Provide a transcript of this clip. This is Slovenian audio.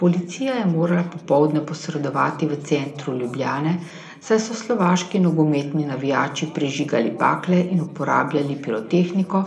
Policija je morala popoldne posredovati v centru Ljubljane, saj so slovaški nogometni navijači prižigali bakle in uporabljali pirotehniko,